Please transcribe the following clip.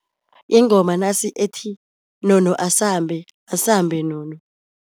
Yingoma nasi ethi nono asambe, asambe nono.